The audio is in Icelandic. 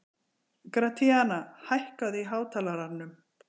Gratíana, hækkaðu í hátalaranum.